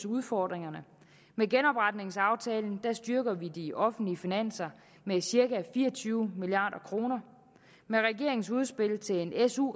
udfordringerne med genopretningsaftalen styrker vi de offentlige finanser med cirka fire og tyve milliard kroner med regeringens udspil til en su